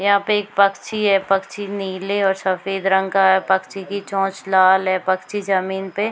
यहाँ पे एक पक्षी है पक्षी नीले और सफेद रंग का है पक्षी की चोंच लाल है पक्षी जमीन पे --